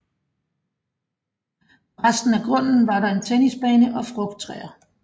På resten af grunden var der en tennisbane og frugttræer